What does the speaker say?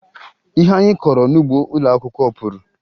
Ihe anyị kọrọ n'ugbo ụlọakwụkwọ puru